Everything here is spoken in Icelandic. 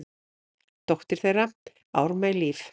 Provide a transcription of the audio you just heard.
Dóttir þeirra: Ármey Líf.